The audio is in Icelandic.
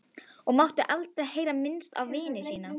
Og mátti aldrei heyra minnst á vín síðan.